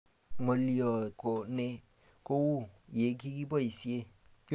ng'oliot, keeu ko nee kou ye kikiboisie?